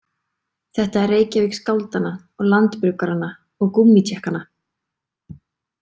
Þetta er Reykjavík skáldanna og landabruggaranna og gúmmítékkanna.